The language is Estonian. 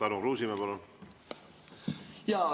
Tarmo Kruusimäe, palun!